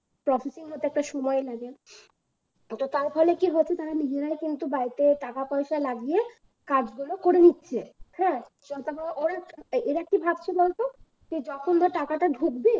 processing হতে একটা সময় লাগে তো তার ফলে কি হচ্ছে তারা নিজেরাই কিন্তু বাড়িতে টাকা পয়সা লাগিয়া কাজ গুলো করে নিচ্ছে হ্যাঁ এরা কি ভাবছে বলতো যখন ধরে টাকাটা ঢুকবে